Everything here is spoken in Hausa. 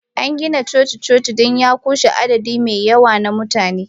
An gina coci-coci don ya ƙunshi adadi mai yawa na mutane.